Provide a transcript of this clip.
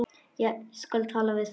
Ég skal tala við þá.